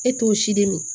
E t'o si di min